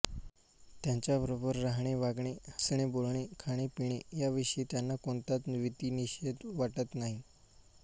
त्यांच्याबरोबर राहणेवागणे हसणेबोलणे खाणेपिणे याविषयी त्यांना कोणताच विधिनिषेध वाटत नाही